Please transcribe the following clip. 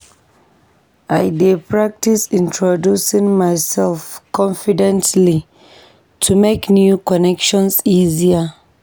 I dey practice introducing myself confidently to make new connections easier.